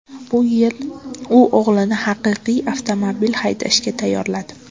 Bu bilan u o‘g‘lini haqiqiy avtomobil haydashga tayyorladi.